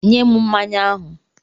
Nye m mmanya ahụ!